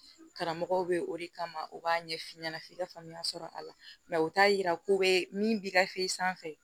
Karamɔgɔw bɛ o de kama u b'a ɲɛf'i ɲɛna f'i ka faamuya sɔrɔ a la u t'a yira ko bɛ min bi gafe sanfɛ